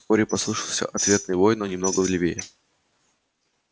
вскоре послышался ответный вой но немного левее